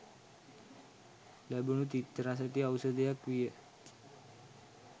ලැබුණු තිත්ත රසැති ‍ඖෂධයක් විය.